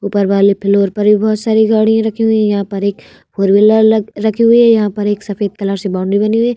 ऊपर वाले फ्लोअर पर भी बहुत सारी गाड़ियाँ रखी हुई है यहाँ पर एक फोर व्हीलर लग रखी हुई है यहाँ पर एक सफेद कलर से बाउंड्री बनी हुई है ।